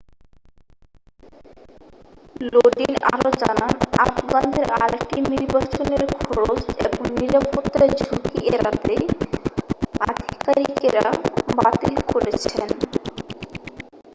লোডিন আরও জানান আফগানদের আরেকটি নির্বাচন এর খরচ এবংনিরাপত্তায় ঝুঁকি এড়াতেই আধিকারিকেরা বাতিল করেছেন